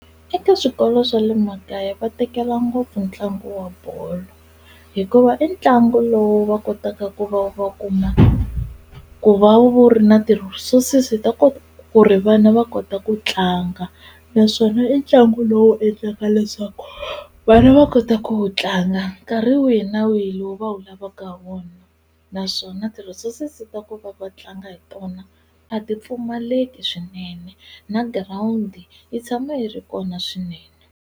Eka swikolo swa le makaya va tekela ngopfu ntlangu wa bolo hikuva i ntlangu lowu va kotaka ku va va kuma ku va wu ri na ti-resources ta ku ku ri vana va kota ku tlanga naswona i ntlangu lowu endlaka leswaku vana va kota ku wu tlanga nkarhi wihi na wihi lowu va wu lavaka ha wona naswona ti-resources ta ku va va tlanga hi tona a ti pfumaleki swinene na girawundi yi tshama yi ri kona swinene.